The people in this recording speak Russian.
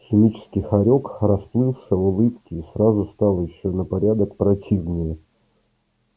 химический хорёк расплылся в улыбке и сразу стал ещё на порядок противнее